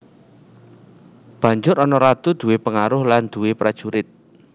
Banjur ana Ratu duwé pengaruh lan duwé prajurit